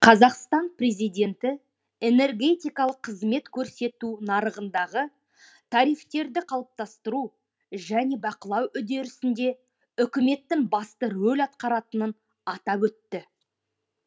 қазақстан президенті энергетикалық қызмет көрсету нарығындағы тарифтерді қалыптастыру және бақылау үдерісінде үкіметтің басты рөл атқаратынын атап өтті